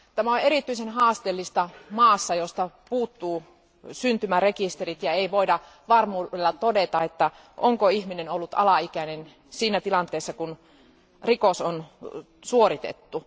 Tämä on erityisen haasteellista maassa, josta puuttuu syntymärekisterit, joten ei voida varmuudella todeta, onko ihminen ollut alaikäinen siinä tilanteessa, kun rikos on suoritettu.